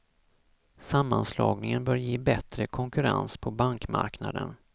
Sammanslagningen bör ge bättre konkurrens på bankmarknaden.